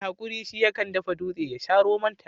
mai hakuri shi ya kan dafa dutse ya sha romonta